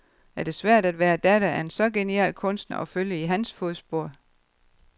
Er det svært, at være datter af en så genial kunstner og følge i hans fodspor?